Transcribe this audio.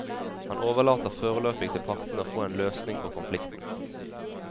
Han overlater foreløpig til partene å få en løsning på konflikten.